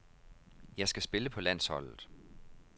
Jeg skal spille på landsholdet.